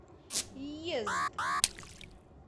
йезд